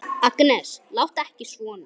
Agnes, láttu ekki svona!